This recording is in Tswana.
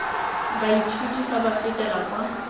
baithuti fa ba fetela kwa